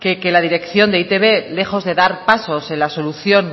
que la dirección de e i te be que lejos de dar pasos en la solución